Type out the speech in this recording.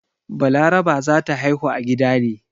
Balaraba za ta haihu a gida ne.